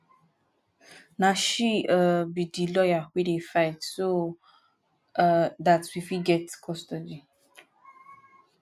na she um be the lawyer wey dey fight so um dat we got fit get custody